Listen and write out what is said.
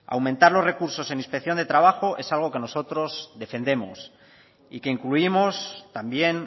aumentar los recursos en inspección de trabajo es algo que nosotros defendemos y que incluimos también